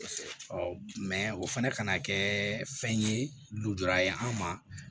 mɛ o fana ka na kɛ fɛn ye lujura ye anw ma